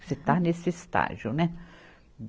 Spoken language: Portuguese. Você está nesse estágio, né?